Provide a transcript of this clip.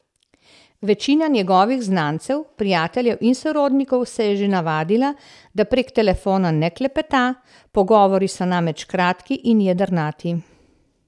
Večina njegovih znancev, prijateljev in sorodnikov se je že navadila, da prek telefona ne klepeta, pogovori so namreč kratki in jedrnati.